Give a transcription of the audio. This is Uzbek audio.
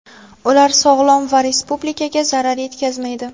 ular sog‘lom va Respublikaga zarar yetkazmaydi.